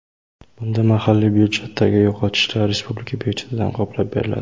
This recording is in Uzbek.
Bunda mahalliy budjetdagi yo‘qotishlar respublika budjetidan qoplab beriladi.